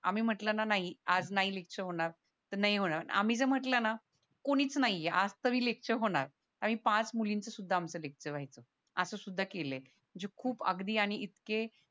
आम्ही म्हंटल ना नाही आज नाही लेक्चर होणार तर नाही होणार आम्ही जर म्हंटल ना कोणीच नाहीये आज सगळी लेक्चर होणार कारण की कारण पाच मुलींचं आमचं लेक्चर व्हायचं असं सुद्धा केलय म्हणजे आधी खूप आणि इतके